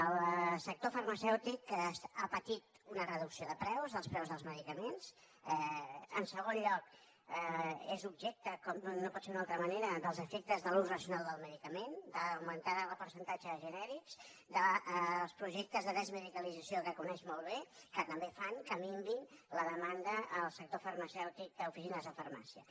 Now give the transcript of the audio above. el sector farmacèutic ha patit una reducció de preus dels preus dels medicaments en segon lloc és objecte com no pot ser d’una altra manera dels efectes de l’ús racional del medicament d’augmentar el percentatge de genèrics dels projectes de desmedicalització que coneix molt bé que també fan que minvi la demanda al sector farmacèutic d’oficines de farmàcia